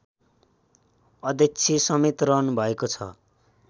अध्यक्षसमेत रहनुभएको छ